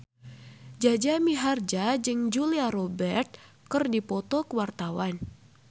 Jaja Mihardja jeung Julia Robert keur dipoto ku wartawan